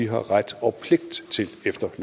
har sagt synes